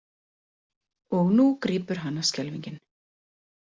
Og nú grípur hana skelfingin.